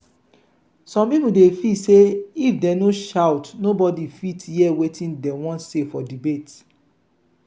some people dey feel sey if dem no shout nobody go fit hear wetin dem wan say for debate.